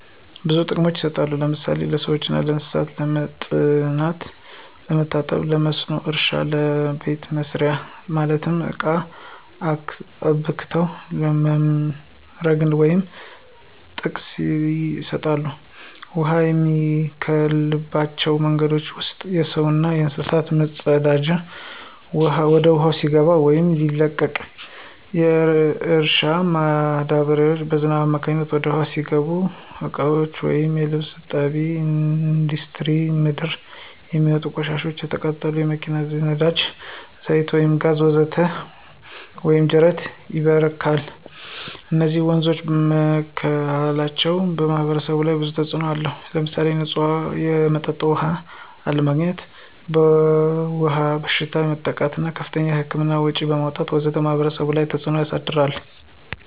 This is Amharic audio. ብዙ ጥቅሞች ይሰጣሉ ለምሳሌ ለሰዎችና ለእንሰሳት ለመጠጥነት፣ ለመታጠቢ ለመስኖ እረሻ ለቤተ መሰሪያ ማለትም ለቃ አብክቶ ለመምረግ ወዘተ ጥቅም ይሰጣሉ። ውሃ የሚበከልባቸው መንገዶች ውስጥ የሰውና የእንስሳት ፅዳጂ ወደ ውሃው ሲገባ ወይም ሲለቀቅ፣ የእርሻ ማዳበሪያዎች በዝናብ አማካኝነት ወደ ውሃው ሲገቡ፣ የእቃዎች ወይም የልብስ እጣቢ፣ እንዱስትሪ ምንድር የሚውጥ ቆሻሻዎች፣ የተቃጠሉ የመኪና የነዳጂ ዛይት ወይም ጋዝ ወዘተ ወንዝ ወይም ጂረት ይበክላል። እነዚህ ወንዞች መበከላቸው በማህበረሰቡ ላይ ብዙ ተጽእኖ አለው። ለምሳሌ ንፁህ የመጠጥ ውሃ አለማግኝት፣ በዉሃ ወለድ በሽታዎች መጠቃት እና ከፍተኛ የህክምና ወጭዎችን ማውጣት ወዘተ በማህበረሰቡ ላይ ተፀ ተጽዕኖ አሳድሯል።